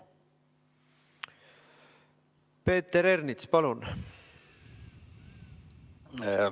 Peeter Ernits, palun!